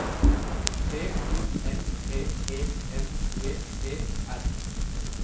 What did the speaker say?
B O M P E N G E R